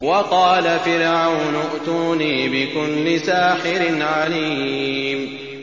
وَقَالَ فِرْعَوْنُ ائْتُونِي بِكُلِّ سَاحِرٍ عَلِيمٍ